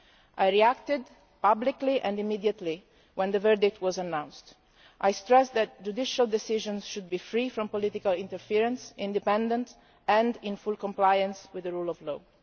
I reacted publicly and immediately when the verdict was announced. I stressed that judicial decisions should be free from political interference, independent and in full compliance with the rule of law.